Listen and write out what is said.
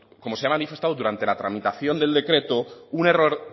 como se ha manifestado durante la tramitación del decreto un error